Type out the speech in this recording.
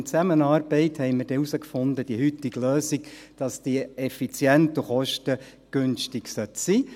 In Zusammenarbeit fanden wir heraus, dass die heutige Lösung effizient und kostengünstig sein sollte.